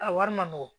A wari ma nɔgɔn